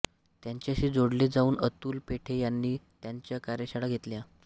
त्यांच्याशी जोडले जाऊन अतुल पेठे यांनी त्यांच्या कार्यशाळा घेतल्या